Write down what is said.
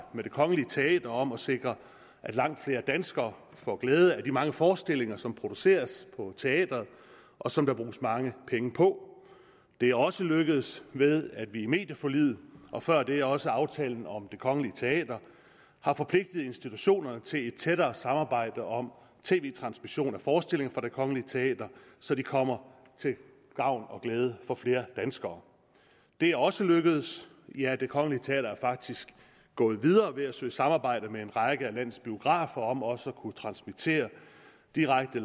med det kongelige teater om at sikre at langt flere danskere får glæde af de mange forestillinger som produceres på teatret og som der bruges mange penge på det er også lykkedes ved at vi i medieforliget og før det også aftalen om det kongelige teater har forpligtet institutionerne til et tættere samarbejde om tv transmission af forestillinger fra det kongelige teater så de kommer til gavn og glæde for flere danskere det er også lykkedes ja det kongelige teater er faktisk gået videre ved at søge samarbejde med en række af landets biografer om også at kunne transmittere direkte